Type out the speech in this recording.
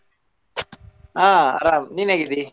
ಹಾ ಅರಾಮ್ ನೀನ್ ಹೇಗಿದ್ದಿ?